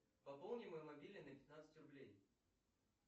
пополни мой мобильный на пятнадцать рублей